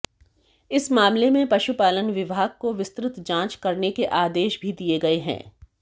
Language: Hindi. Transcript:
इस मामले में पशुपालन विभाग को विस्तृत जांच करने के आदेश भी दिए गए हैं